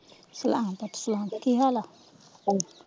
ਸਲਾਮ ਪੁੱਤ ਸਲਾਮ ਕੀ ਹਾਲ ਆ?